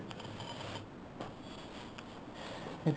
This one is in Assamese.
সেইটোয়ে